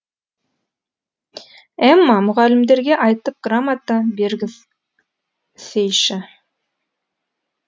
эмма мұғалімдерге айтып грамота бергізсейші